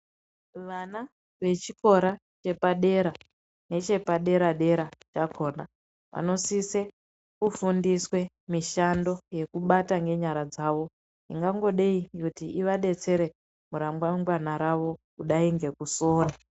Vana vechikora chepadera nechepadera dera nakona vanosise kufundiswe mishando yekubata nyenyara dzavo yingangodei kuti ivabetsere murangangwana ravo kudai nekusora